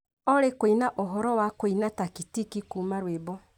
Olly kũina uhoro wa kũina tactiki kuuma rwĩmbo